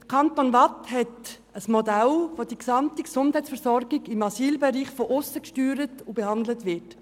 Der Kanton Waadt hat ein Modell, bei dem die gesamte Gesundheitsversorgung im Asylbereich von aussen gesteuert und behandelt wird.